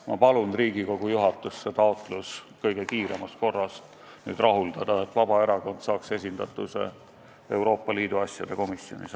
Ma palun Riigikogu juhatust see taotlus kõige kiiremas korras rahuldada, et Vabaerakond saaks esindatuse Euroopa Liidu asjade komisjonis.